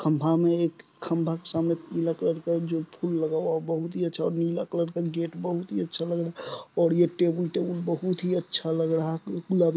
खंबा में एक खंबा के सामने पीले कलर का एक जो फूल लगा हुआ वह बहुत ही अच्छा नीले कलर का गेट बहुत ही अच्छा लग रहा है और ये टेबुल टेबल बहुत ही अच्छा लग रहा है।